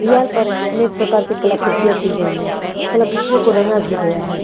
दीवार पर अनेक प्रकार की कलाकृतियों की गई हैं कलाकृतियों को रंगा भी गया है।